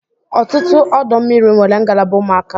Ọtụtụ ọdọ mmiri nwere ngalaba ụmụaka.